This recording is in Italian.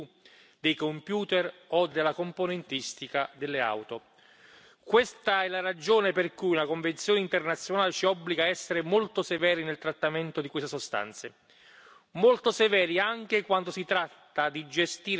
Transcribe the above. Questa è la ragione per cui la Convenzione internazionale ci obbliga a essere molto severi nel trattamento di queste sostanze, molto severi anche quando si tratta di gestire la presenza nei rifiuti e nei materiali che vengono trattati per il riciclo.